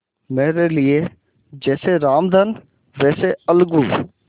मेरे लिए जैसे रामधन वैसे अलगू